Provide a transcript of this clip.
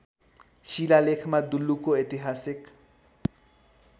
शिलालेखमा दुल्लुको ऐतिहासिक